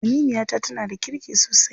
Aminiyata tana da kirki sosai.